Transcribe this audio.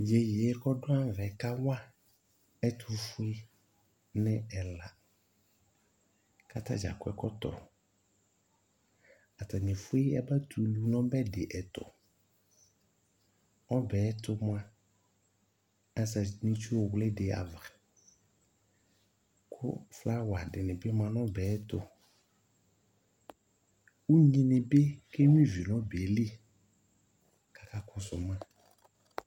Tʋ iyeye kʋ dʋ ayava ɛ kawa ɛtʋfue ni ɛla kʋ atadza akɔ ɛkɔtɔ Atani efue yabatɛ ulu nʋ ɔbɛ di ɛtʋ Ɔbɛ yɛ ɛtʋ moa, azati ni itsuwli di ava kʋ flawa di ni bi ma nʋ ɔbɛ yɛ ɛtʋ Unyi ni bi kenyua ivi nʋ ɔbɛ yɛ li kʋ akakɔsʋ ma